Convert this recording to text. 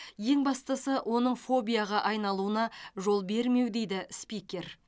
ең бастысы оның фобияға айналуына жол бермеу дейді спикер